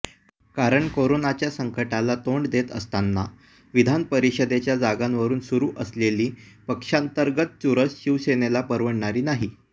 कारण कोरोनाच्या संकटाला तोंड देत असतांना विधानपरिषदेच्या जागांवरून सुरु असलेली पक्षांतर्गत चुरस शिवसेनेला परवडणारी नाही